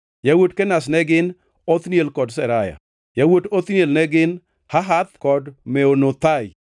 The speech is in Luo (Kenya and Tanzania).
Yawuot Kenaz ne gin: Othniel kod Seraya. Yawuot Othniel ne gin: Hahath kod Meonothai.